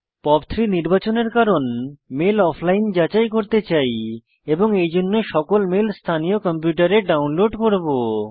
POP3 নির্বাচনের কারণ mail offline যাচাই করতে চাই এবং এইজন্য সকল মেল স্থানীয় কম্পিউটারে ডাউনলোড করব